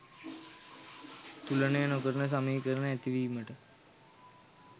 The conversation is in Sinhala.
තුලනය නොකරන සමීකරණ ඇති වීමට